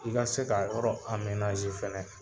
I ka se k'a yɔrɔ fɛnɛ